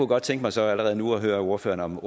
godt tænke mig så allerede nu at høre ordføreren om